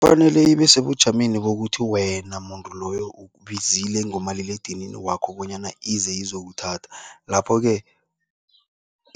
Kufanele ibe sebujameni bokuthi wena muntu loyo ukubizile ngomaliledinini wakho bonyana ize izokuthatha, lapho-ke